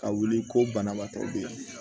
Ka wuli ko banabaatɔ be yen